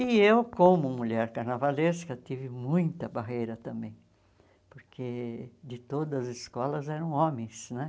E eu, como mulher carnavalesca, tive muita barreira também, porque de todas as escolas eram homens, né?